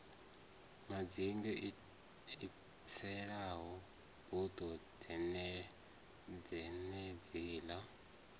madzinge i tselaho dubo dzenedziḽa